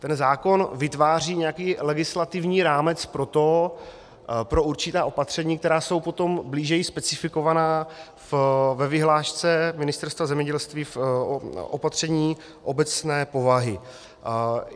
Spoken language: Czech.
Ten zákon vytváří nějaký legislativní rámec pro určitá opatření, která jsou potom blíže specifikovaná ve vyhlášce Ministerstva zemědělství v opatřeních obecné povahy.